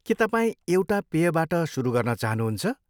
के तपाईँ एउटा पेयबाट सुरु गर्न चाहनुहुन्छ?